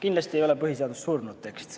Kindlasti ei ole põhiseadus surnud tekst.